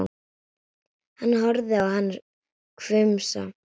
Hann horfir á hana hvumsa.